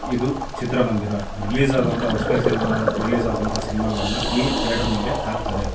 ಇದು ಚಿತ್ರ ಮಂದಿರ ರಿಲೇಸ್ ಆಗೋವಂತಹ ವಸದಾಗಿ ರಿಲೇಸ್ ಆಗುವಂತ ಸಿನಿಮಾ ಗಳನ್ನ ಈ ಥೇಟರ್ ಅಲ್ಲಿ ಹಾಗೆ ತಾರೇ.